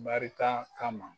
Barika kama